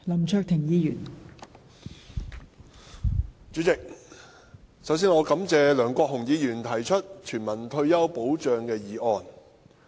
代理主席，首先我感謝梁國雄議員提出有關全民退休保障的議案。